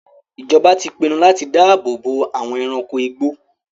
Ìjọba ti pinnu láti dáàbò bo àwọn ẹranko igbó.